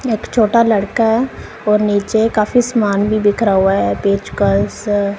एक छोटा लड़का और नीचे काफी समान भी बिखरा हुआ है पेचकस--